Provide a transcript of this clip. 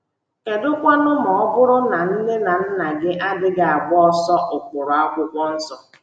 Kedụkwanụ ma ọ bụrụ na nne na nna gị adịghị agbaso ụkpụrụ akwụkwọ nsọ?